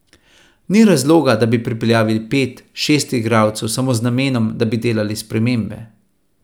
Ni razloga, da bi pripeljali pet, šest igralcev samo z namenom, da bi delali spremembe.